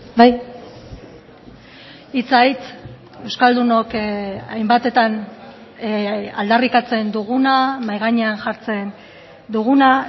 bai hitza hitz euskaldunok hainbatetan aldarrikatzen duguna mahai gainean jartzen duguna